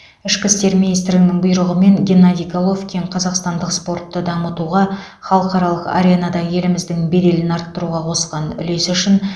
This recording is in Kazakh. ішкі істер министрлігінің бұйрығымен геннадий головкин қазақстандық спортты дамытуға халықаралық аренада еліміздің беделін арттыруға қосқан үлесі үшін